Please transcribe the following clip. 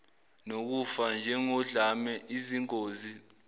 nokufa njengodlame izingozi